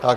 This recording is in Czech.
Tak.